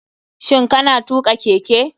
Shin kana tuka keke.